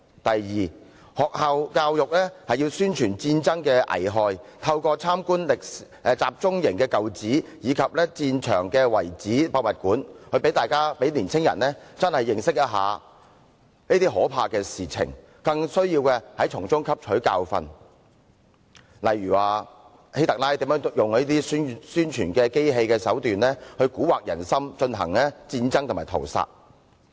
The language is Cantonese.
第二，學校教育要宣傳戰爭的危害，透過參觀集中營舊址及戰場遺址博物館，讓青年人切實認識這些可怕的事情，更需從中汲取教訓，例如希特勒如何利用宣傳機器蠱惑人心，進行戰爭和屠殺。